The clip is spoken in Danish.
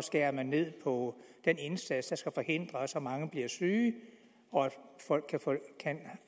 skærer ned på den indsats der skal forhindre at så mange bliver syge og at folk